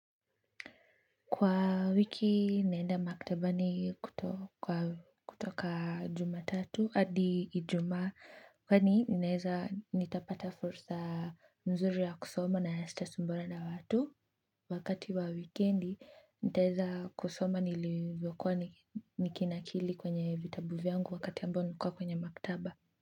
Kwa wiki naenda maktaba ni kutoka jumatatu hadi ijuma kwani ninaeza nitapata fursa nzuri ya kusoma nasita sumbuana na watu wakati wa wikendi nitaeza kusoma nilivyokuwa nikinakili kwenye vitabu vyangu wakati ambao nilikua kwenye maktaba.